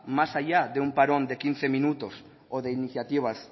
más allá de un parón de quince minutos o de iniciativas